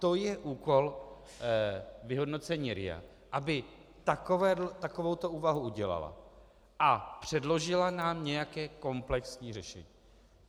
To je úkol vyhodnocení RIA, aby takovouto úvahu udělala a předložila nám nějaké komplexní řešení.